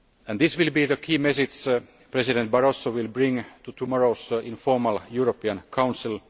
This will be the key message President Barroso will bring to tomorrow's informal European Council.